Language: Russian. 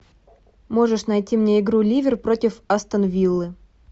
можешь найти мне игру ливер против астон виллы